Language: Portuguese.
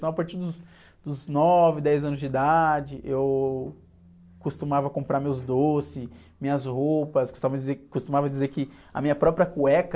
Então a partir dos. dos nove, dez anos de idade, eu costumava comprar meus doces, minhas roupas, custava dizer, costumava dizer que a minha própria cueca...